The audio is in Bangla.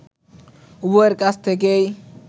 উভয়ের কাছ থেকেই